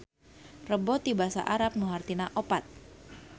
Rebo ti basa Arab nu hartina opat